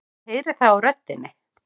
Ég heyri það á röddinni.